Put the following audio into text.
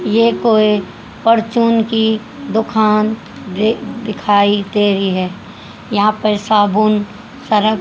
यह कोई परफ्यूम की दुकान दे दिखाई दे रही है यहां पे साबुन सर्फ--